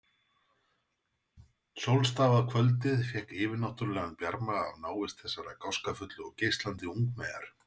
Sólstafað kvöldið fékk yfirnáttúrlegan bjarma af návist þessarar gáskafullu og geislandi ungmeyjar.